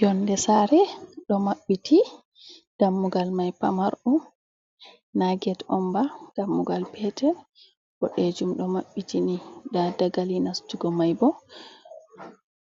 Yonde saare ɗo maɓɓiti dammugal mai pamarɗum na get onba dammugal petel boɗejum ɗo maɓɓiti ni nda dagali nastugo mai bo